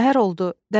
Səhər oldu.